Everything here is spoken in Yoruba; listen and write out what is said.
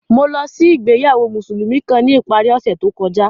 Mo lọ si ìgbéyàwó Musulumi kan ni ipari ọsẹ to kọja.